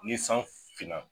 Ni san fiinan